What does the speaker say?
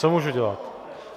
Co můžu dělat?